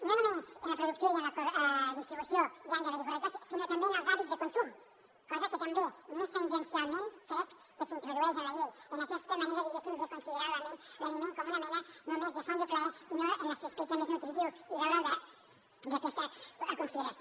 no només en la producció i en la distribució hi han d’haver correctors sinó també en els hàbits de consum cosa que també més tangencialment crec que s’introdueix en la llei en aquesta manera diguéssim de considerar l’aliment com una mena només de font de plaer i no en l’aspecte més nutritiu i veure’l des d’aquesta consideració